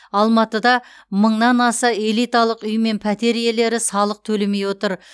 алматыда мыңнан аса элиталық үй мен пәтер иелері салық төлемей отыр